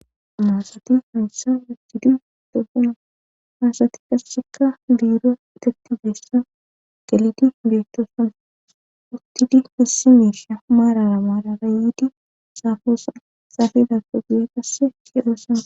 Ha asati hayssa yustidu beetoosona haasati qassekka biiro etetibeessa qelidi beettoossana uttidi hessimeesha maarara maara raayidi saafoosan xaafedakoguye qasse hedoosana